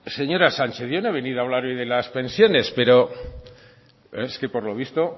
señora sánchez yo no he venido a hablarle de las pensiones pero es que por lo visto